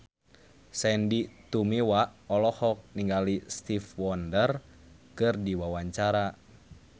Sandy Tumiwa olohok ningali Stevie Wonder keur diwawancara